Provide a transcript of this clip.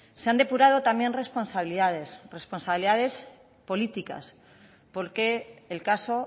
se han depurado también responsabilidades responsabilidades políticas porque el caso